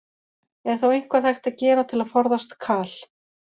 Er þá eitthvað hægt að gera til að forðast kal?